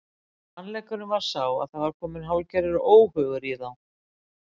Sannleikurinn var sá að það var kominn hálfgerður óhugur í þá.